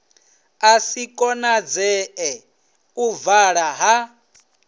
si konadzee u vala ha